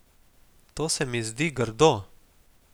To se mi zdi grdo.